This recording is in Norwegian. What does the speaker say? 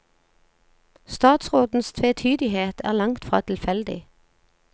Statsrådens tvetydighet er langt fra tilfeldig.